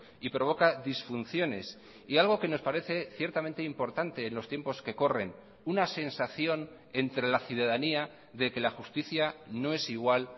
y provoca disfunciones y algo que nos parece ciertamente importante en los tiempos que corren una sensación entre la ciudadanía de que la justicia no es igual